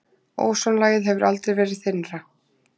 Ósonlagið hefur aldrei verið þynnra